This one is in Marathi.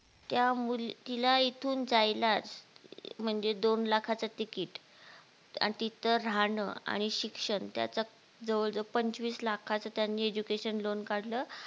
त्या मुली तीला इथून जायलाच म्हणजे दोन लखाच तिकीट आणि तिथं राहणं आणि शिक्षण त्याचा जवळजवळ पंचवीस लाखाचं त्यांनी education loan काढलं